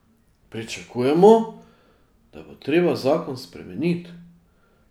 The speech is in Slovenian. Pričakujemo, da bo treba zakon spremeniti.